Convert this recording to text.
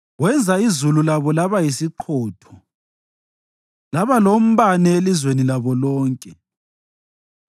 Wenza izulu labo laba yisiqhotho, laba lombane elizweni labo lonke;